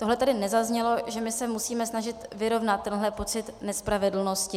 Tohle tady nezaznělo, že my se musíme snažit vyrovnat tenhle pocit nespravedlnosti.